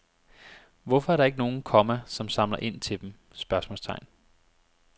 Hvorfor er der ikke nogen, komma som samler ind til dem? spørgsmålstegn